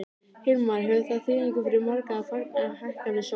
Hilmar, hefur það þýðingu fyrir marga að fagna hækkandi sól?